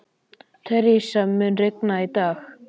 Theresa, mun rigna í dag?